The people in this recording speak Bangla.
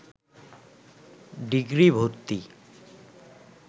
ডিগ্রি ভর্তি